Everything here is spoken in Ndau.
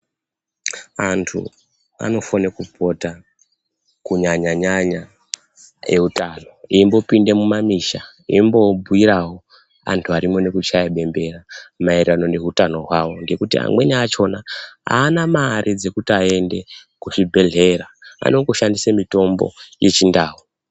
Antu anofane kupota kunyanya-nyanya utano eimbopinda mumamisha. Eimboabhuiravo antu arimo nekuchaya bembera maererano ngehutano havo. Ngekuti amweni achona haana mare dzekuti aende kuzvibhedhlera anongoshandise mitombo dzechindau.